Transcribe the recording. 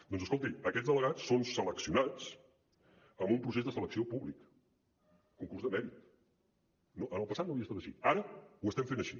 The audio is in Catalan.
doncs escolti aquests delegats són seleccionats amb un procés de selecció públic concurs de mèrit en el passat no havia estat així ara ho estem fent així